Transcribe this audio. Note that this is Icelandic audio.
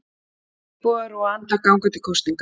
Íbúar Rúanda ganga til kosninga